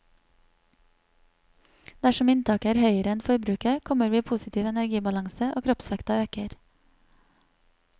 Dersom inntaket er høyere enn forbruket, kommer vi i positiv energibalanse, og kroppsvekta øker.